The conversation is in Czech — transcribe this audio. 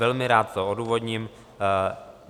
Velmi rád to odůvodním.